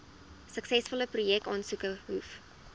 suksesvolle projekaansoeke hoef